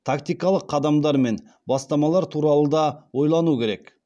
тактикалық қадамдар мен бастамалар туралы да ойлану керек